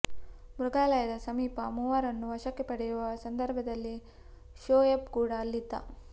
ಮೃಗಾಲಯದ ಸಮೀಪ ಮೂವರನ್ನು ವಶಕ್ಕೆ ಪಡೆಯುವ ಸಂದರ್ಭದಲ್ಲಿ ಶೋಯಬ್ ಕೂಡ ಅಲ್ಲಿದ್ದ